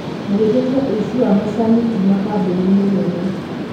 magĩtetia ũici wa macani kuuma kambuni-inĩ nene